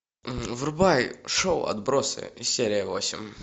врубай шоу отбросы серия восемь